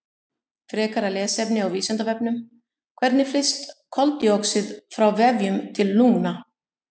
Frekara lesefni á Vísindavefnum: Hvernig flyst koltvíoxíð frá vefjum til lungna?